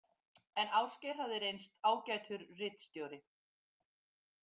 En Ásgeir hafði reynst ágætur ritstjóri.